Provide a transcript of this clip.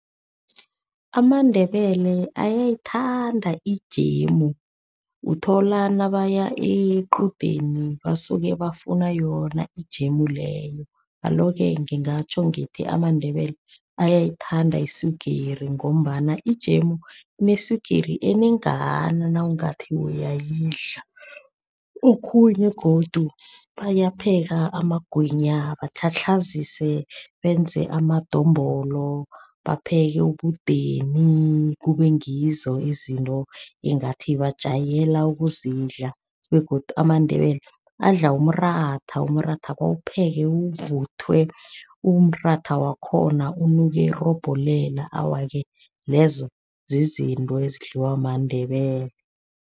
AmaNdebele ayithanda ijemu, uthola nabaya equdeni basuke bafuna yona ijemu leyo. Alo-ke ngingatjho ngithi amaNdebele ayayithanda iswigiri ngombana ijemu, ineswigiri enengana nawungathi uyayidla. Okhunye godu bayapheka amagwinya, batlhatlhazise benze amadombolo, bapheke ubudeni. Kube ngizo izinto engathi bajayela ukuzidla begodu amaNdebele adla umratha. Umratha bawupheke uvuthiwe, umratha wakhona unuke irobhelela. Awa-ke lezo zizinto ezidliwa maNdebele.